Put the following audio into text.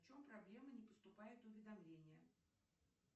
в чем проблема не поступает уведомление